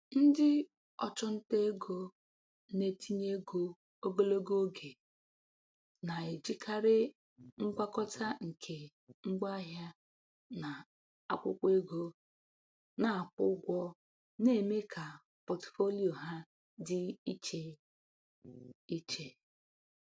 Ndị ọchụnta ego na-etinye ego ogologo oge na-ejikarị ngwakọta nke ngwaahịa na akwụkwọ ego na-akwụ ụgwọ na-eme ka pọtụfoliyo ha dị iche iche.